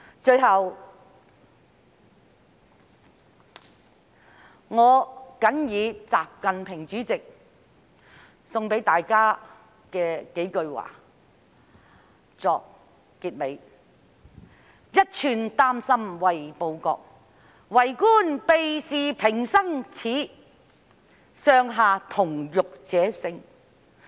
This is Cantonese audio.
最後，我謹以習近平主席的幾句話送給大家，作為結尾：一寸丹心為報國，為官避事平生耻，上下同欲者勝。